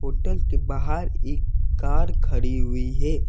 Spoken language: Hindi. होटल के बाहर एक कार खड़ी हुई है।